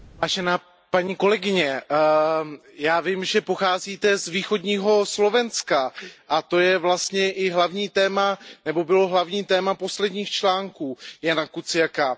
Vážená paní kolegyně, já vím, že pocházíte z východního Slovenska a to je vlastně i hlavním tématem nebo bylo hlavním tématem posledních článků Jana Kuciaka.